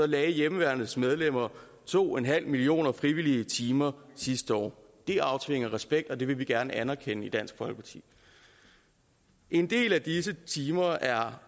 lagde hjemmeværnets medlemmer to en halv millioner frivillige timer sidste år det aftvinger respekt og det vil vi gerne anerkende i dansk folkeparti en del af disse timer er